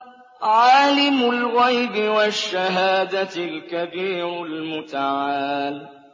عَالِمُ الْغَيْبِ وَالشَّهَادَةِ الْكَبِيرُ الْمُتَعَالِ